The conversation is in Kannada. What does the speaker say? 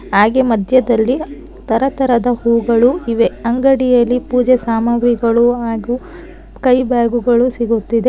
ಹಾಗೆ ಮಧ್ಯದಲ್ಲಿ ತರತರದ ಹೂಗಳು ಇವೆ ಅಂಗಡಿಯಲ್ಲಿ ಪೂಜೆ ಸಾಮಾಗ್ರಿಗಳು ಹಾಗೂ ಕೈ ಬ್ಯಾಗುಗಳು ಸಿಗುತ್ತಿದೆ.